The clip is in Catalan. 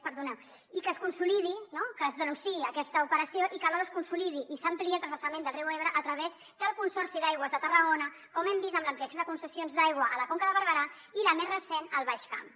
perdoneu i que es consolidi no que es denunciï aquesta operació i que alhora es consolidi i s’ampliï el transvasament del riu ebre a través del consorci d’aigües de tarragona com hem vist amb l’ampliació de concessions d’aigua a la conca de barberà i la més recent al baix camp